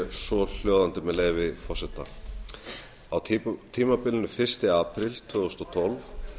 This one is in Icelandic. svohljóðandi með leyfi forseta á tímabilinu fyrsta apríl tvö þúsund og tólf